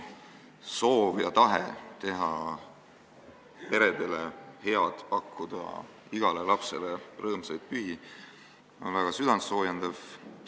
Sinu tahe teha peredele head, pakkuda igale lapsele rõõmsaid pühi on väga südantsoojendav.